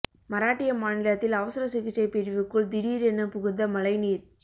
மராட்டிய மாநிலத்தில் அவசர சிகிச்சை பிரிவுக்குள் திடீரென புகுந்த மழை நீர்